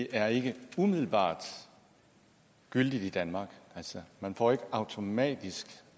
er ikke umiddelbart gyldigt i danmark man får ikke automatisk